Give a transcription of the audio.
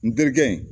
N terikɛ in